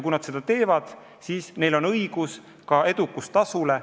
Kui nad seda teevad, siis on neil õigus ka edukustasu saada.